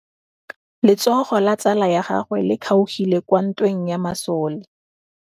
Letsôgô la tsala ya gagwe le kgaogile kwa ntweng ya masole.